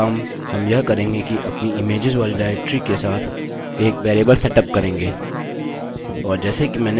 पहला काम हम यह करेंगे कि अपनी इमेज्स वाली डाइरेक्टरी के साथ एक वेरिएबल सेटअप करेंगे